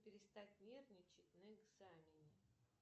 перестать нервничать на экзамене